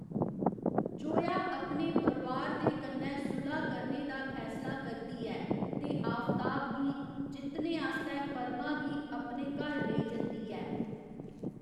जोया अपने परोआर दे कन्नै सुलह् करने दा फैसला करदी ऐ ते आफताब गी जित्तने आस्तै परमा गी अपने घर लेई जंदी ऐ।